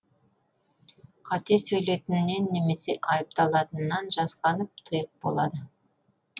қате сөйлейтінінен немесе айыпталатынынан жасқанып тұйық болады